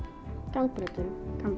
gangbraut og